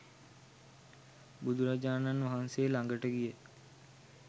බුදුරජාණන් වහන්සේ ළඟට ගිය